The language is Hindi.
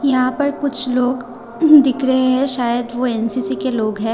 यहां पर कुछ लोग दिख रहे हैं शायद वो एन_सी_सी के लोग है।